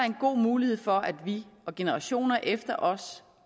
en god mulighed for at vi og generationer efter os